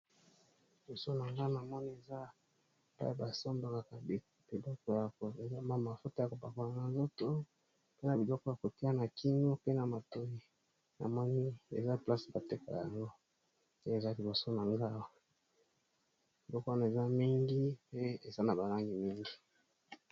Liboso na ngau na moni eza pa basandanaka biloko ya koelama mafota ya kopakwana na nzoto mpe na biloko ya kotia na kino pe na matoi na moni eza place bateka yango te eza liboso na nga lokwana eza mingi pe eza na balange mingi.